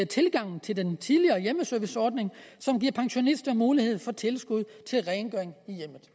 tilgang til den tidligere hjemmeserviceordning som giver pensionister mulighed for tilskud til rengøring i hjemmet